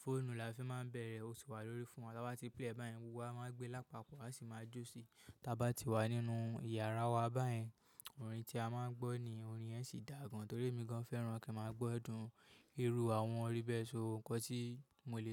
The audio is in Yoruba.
fóònù la fi máa ń bẹ̀rẹ̀, ó ti wà lórí fún wa. Tába ti play e báyẹn, gbogbo wa máa gbé lápapọ̀, a sì máa jó sí. Tábá ti wà nínú yàrá wa báyẹn, orin tí a máa ń gbọ́ ni orin yẹ́n sì dà gan. Torí èmi gan fẹ́ràn kí a máa gbọ́ ẹ̀dùn irú àwọn orí bẹ́ẹ̀, so nǹkan tí mo lè.